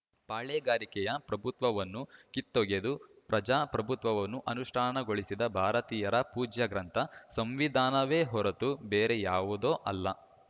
ಪಾಳೇಗಾರಿಕೆಯ ಪ್ರಭುತ್ವವನ್ನು ಕಿತ್ತೊಗೆದು ಪ್ರಜಾ ಪ್ರಭುತ್ವವನ್ನು ಅನುಷ್ಠಾನಗೊಳಿಸಿದ ಭಾರತೀಯರ ಪೂಜ್ಯಗ್ರಂಥ ಸಂವಿಧಾನವೇ ಹೊರತು ಬೇರೆ ಯಾವುದೋ ಅಲ್ಲ